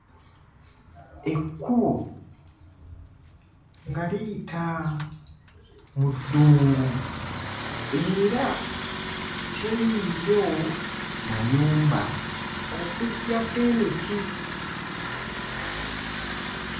Ekkubo nga liyita mu ddungu era teriiyo mayumba okuggyako emiti.